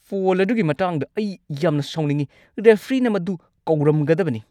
Phone ꯑꯗꯨꯒꯤ ꯃꯇꯥꯡꯗ ꯑꯩ ꯌꯥꯝꯅ ꯁꯥꯎꯅꯤꯡꯉꯤ! ꯔꯦꯐ꯭ꯔꯤꯅ ꯃꯗꯨ ꯀꯧꯔꯝꯒꯗꯕꯅꯤ꯫